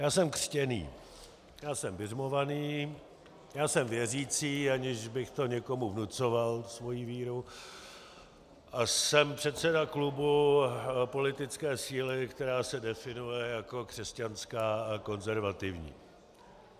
Já jsem křtěný, já jsem biřmovaný, já jsem věřící, aniž bych to někomu vnucoval, svoji víru, a jsem předseda klubu politické síly, která se definuje jako křesťanská a konzervativní.